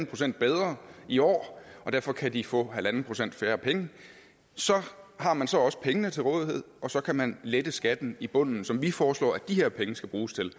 procent bedre i år og derfor kan de få en halv procent færre penge har man så også pengene til rådighed og så kan man lette skatten i bunden som vi foreslår at de her penge skal bruges til